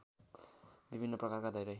विभिन्न प्रकारका धेरै